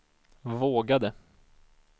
vågade